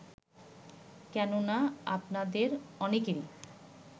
কেননা আপনাদের অনেকেরই